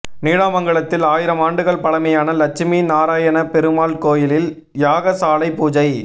நீடாமங்கலத்தில் ஆயிரம் ஆண்டுகள் பழமையான லட்சுமி நாராயணபெருமாள் கோயிலில் யாகசாலை பூஜை